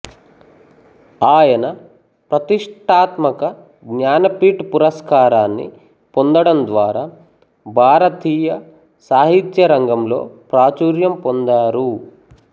ఆయన ప్రతిష్ఠాత్మక జ్ఞానపీఠ్ పురస్కారాన్ని పొందడం ద్వారా భారతీయ సాహిత్యరంగంలో ప్రాచుర్యం పొందారు